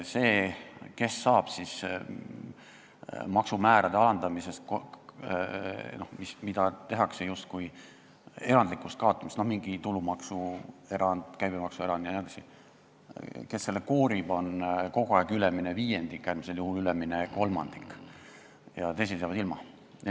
See, kes saab kasu maksumäärade erandlikust alandamisest, mingi tulumaksu või käibemaksu erand jne, kes selle kasu koorib, see on kogu aeg ülemine viiendik, äärmisel juhul ülemine kolmandik, teised jäävad ilma.